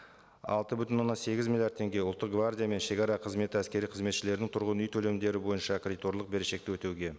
алты бүтін оннан сегіз миллиард теңге ұлттық гвардия мен шегара қызметі әскери қызметшілердің тұрғын үй төлемдері бойынша кредиторлық берешекті өтеуге